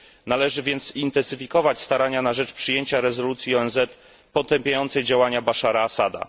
Należy więc intensyfikować starania na rzecz przyjęcia rezolucji ONZ potępiającej postępowanie Baszara al Assada.